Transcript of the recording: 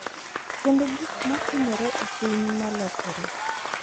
Kendo gik ma timore e piny ma lokore.